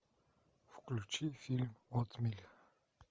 включи фильм отмель